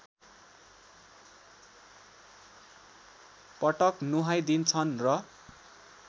पटक नुहाइदिन्छन् र